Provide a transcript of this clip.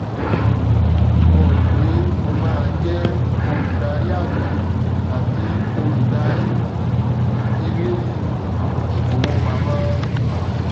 um mo rò pé mo máa jẹ olùdarí àgbà tàbí olùdarí um ilé um ìfowópamọ